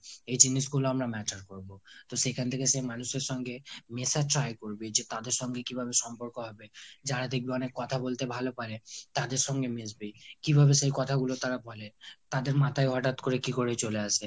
এই জিনিসগুলো আমরা matter করবো। তো সেখান থেকে সে মানুষের সঙ্গে মেশার try করবি, যে তাদের সঙ্গে কিভাবে সম্পর্ক হবে? যারা দেখবি অনেক কথা বলতে ভালো পারে তাদের সঙ্গে মিশবি। কিভাবে সে কথাগুলো তারা বলে। তাদের মাথায় হঠাৎ করে কী করে চলে আসে ?